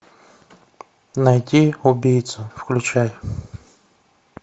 найти убийцу включай